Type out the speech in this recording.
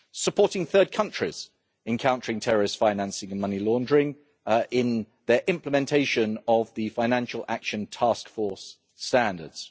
supporting third countries in countering terrorist financing and money laundering in their implementation of the Financial Action Task Force standards